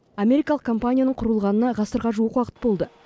америкалық компанияның құрылғанына ғасырға жуық уақыт болды